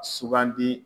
Sugandi